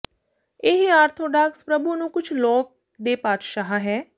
ਇਹ ਆਰਥੋਡਾਕਸ ਪ੍ਰਭੂ ਨੂੰ ਕੁਝ ਲੋਕ ਦੇ ਪਾਤਸ਼ਾਹ ਹੈ